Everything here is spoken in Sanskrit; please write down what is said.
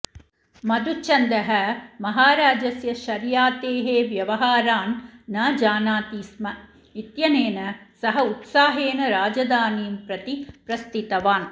मधुच्छन्दः महाराजस्य शर्यातेः व्यवहारान् न जानाति स्म इत्यनेन सः उत्साहेन राजधानीं प्रति प्रस्थितवान्